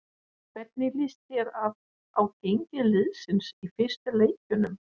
Hvernig lýst þér á gengi liðsins í fyrstu leikjunum?